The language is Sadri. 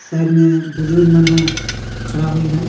साइड में बुजुर्ग मन हू खड़ा होइहन।